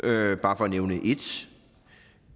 er bare for nævne